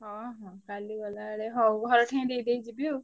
ହଁ ହଁ କାଲି ଗଲାବେଳେ ହଉ ଘରେ ଠେଇଁ ଦେଇଦେଇ ଯିବି ଆଉ।